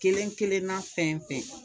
Kelen kelenna fɛn fɛn